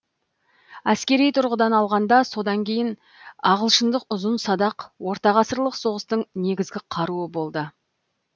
әскери тұрғыдан алғанда содан кейін ағылшындық ұзын садақ ортағасырлық соғыстың негізгі қаруы болды